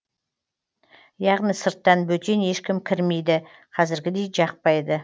яғни сырттан бөтен ешкім кірмейді қазіргідей жақпайды